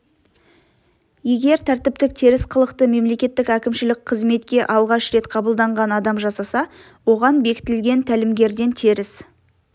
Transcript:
егер тәртіптік теріс қылықты мемлекеттік әкімшілік қызметке алғаш рет қабылданған адам жасаса оған бекітілген тәлімгерден теріс